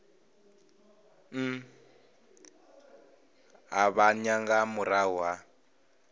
u ṱavhanya nga murahu ha